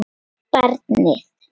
Og barnið.